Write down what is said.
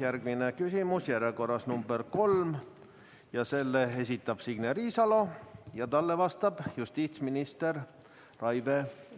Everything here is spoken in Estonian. Järgmine küsimus on järjekorras nr 3, selle esitab Signe Riisalo ja talle vastab justiitsminister